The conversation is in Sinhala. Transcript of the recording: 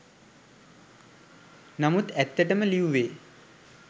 නමුත් ඇත්තටම ලිව්වේ